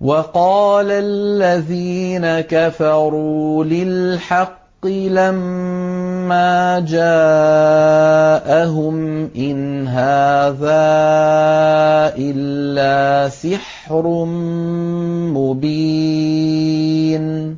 وَقَالَ الَّذِينَ كَفَرُوا لِلْحَقِّ لَمَّا جَاءَهُمْ إِنْ هَٰذَا إِلَّا سِحْرٌ مُّبِينٌ